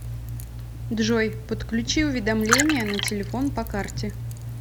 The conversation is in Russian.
джой подключи уведомления на телефон по карте